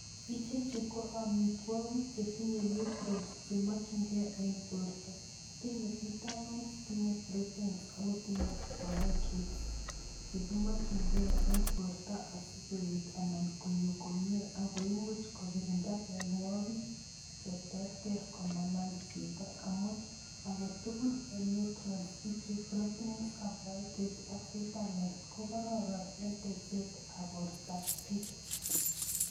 Ichechu ko amitwogik che tinye nutrients chemokchinkei en borta, tinye vitamins, tinye proteins ako tinye carbohydrates, che kimokchinkei en borta asi koet anan konyo komie, akoi imuch kokirinda mionwogik che terter komanam chito amun, ake tugul en nutrients ichu proteins , carbohydrates ak vitamins ko kororon en teksetab bortabchi.